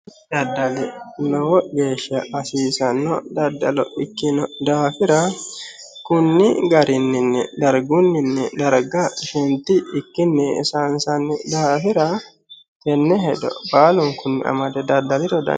daddalu lowo geeshsha hasiisanno daddalo ikkino daafira konni garinni dargunni darga shenti ikkinni sayiinsanni daafira tenne hedo baalunkunni amade daddaliro danchaho.